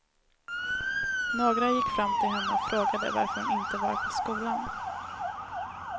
Några gick fram till henne och frågade varför hon inte var på skolan.